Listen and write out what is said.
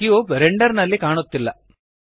ಈ cube render ನಲ್ಲಿ ಕಾಣುತ್ತಿಲ್ಲ